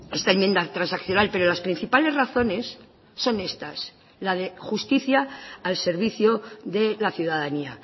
esta enmienda transaccional pero las principales razones son estas la de justicia al servicio de la ciudadanía